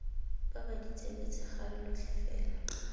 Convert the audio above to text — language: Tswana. baba ditsebe tshegare lotlhe fela